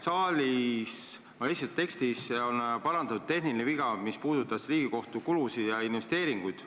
Tekstis on parandatud tehniline viga, mis puudutas Riigikohtu kulusid ja investeeringuid.